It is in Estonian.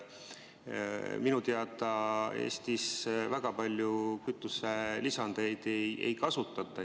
Minu teada Eestis väga palju kütuselisandeid ei kasutata.